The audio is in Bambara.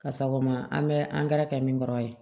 Ka sago ma an bɛ angɛrɛ kɛ min kɔrɔ ye